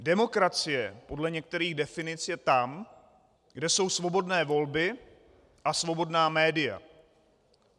Demokracie podle některých definic je tam, kde jsou svobodné volby a svobodná média.